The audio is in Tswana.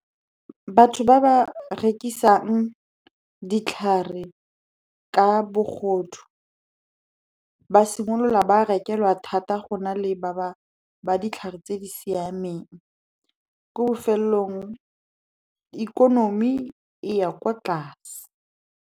Batho ba ba rekisang ditlhare ka bogodu, ba simolola ba rekelwa thata go na le ba ba ditlhare tse di siameng. Ko bofelelong, ikonomi e ya kwa tlase.